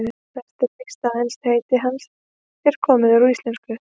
Næsta víst er að enskt heiti hans er komið úr íslensku.